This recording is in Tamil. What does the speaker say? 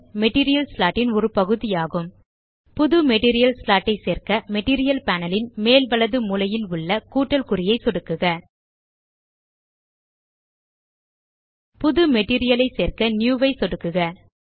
மெட்டீரியல் ஸ்லாட் ன் ஒரு பகுதி ஆகும் புது மெட்டீரியல் ஸ்லாட் ஐ சேர்க்க மெட்டீரியல் பேனல் ன் மேல் வலது மூலையில் உள்ள கூட்டல் குறியை சொடுக்குக புது மெட்டீரியல் ஐ சேர்க்க நியூ ஐ சொடுக்கவும்